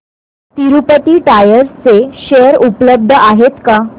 Tirupati tyres चे share उपलब्ध आहेत का